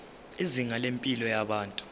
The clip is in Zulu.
izinga lempilo yabantu